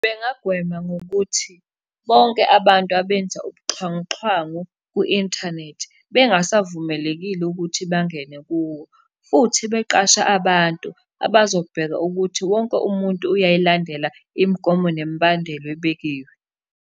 Bengagwema ngokuthi, bonke abantu abenza ubuxhwanguxhwangu ku-inthanethi, bengasavumelekile ukuthi bangene kuwo, futhi beqashe abantu abazobheka ukuthi wonke umuntu uyayilandela imigomo nemibandela ebekiwe.